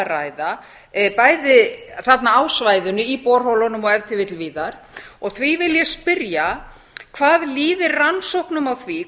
ræða bæði þarna á svæðinu í borholunum og víðar og því vil ég spyrja hvað líði rannsóknum á því